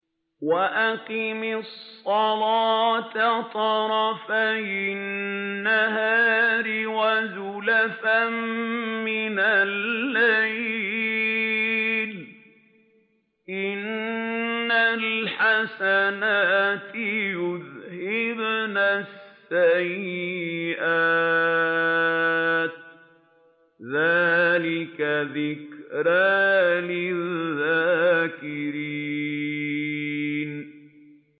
وَأَقِمِ الصَّلَاةَ طَرَفَيِ النَّهَارِ وَزُلَفًا مِّنَ اللَّيْلِ ۚ إِنَّ الْحَسَنَاتِ يُذْهِبْنَ السَّيِّئَاتِ ۚ ذَٰلِكَ ذِكْرَىٰ لِلذَّاكِرِينَ